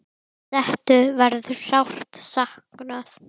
Settu verður sárt saknað.